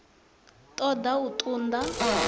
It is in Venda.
ṱo ḓa u ṱun ḓa